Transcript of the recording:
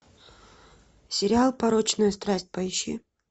сериал порочная страсть поищи